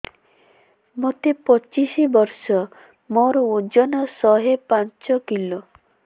ମୋତେ ପଚିଶି ବର୍ଷ ମୋର ଓଜନ ଶହେ ପାଞ୍ଚ କିଲୋ